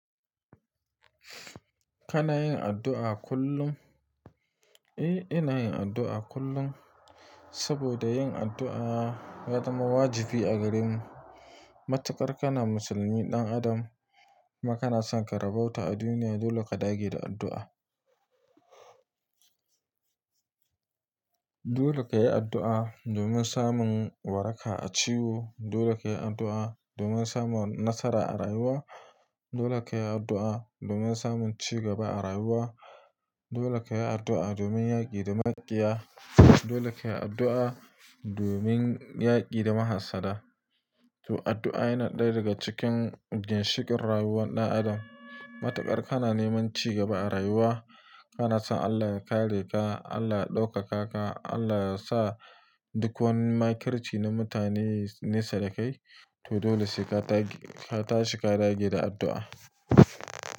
Kana yin addu'a kullum? Eh, ina yin addu'a kullum. Saboda yin addu'a ya zama wajibi a garin mu. Matuƙar kana musulmi ɗan adam, kuma kana son ka rabauta a duniya, dole ka dage da addu'a. Dole ka yi addu'a domin samun waraka a ciwo. Dole ka yi addu'a domin samun nasara a rayuwa. Dole ka yi addu'a domin samun cigaba a rayuwa. Dole ka yi addu'a domin yaki da makiya. Dole ka yi addu'a domin yaki da mahasada. To addu'a yana ɗaya daga cikin ginshikin rayuwar ɗan adam. Matuƙar kana neman cigaba a rayuwa, kana so Allah ya kare ka, Allah ya ɗaukaka ka, Allah ya sa duk wani makirci na mutane nesa da kai, toh dole sai ka tashi ka dage da addu'a.